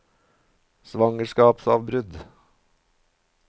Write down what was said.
svangerskapsavbrudd